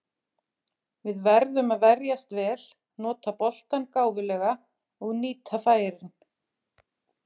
Við verðum að verjast vel, nota boltann gáfulega og nýta færin.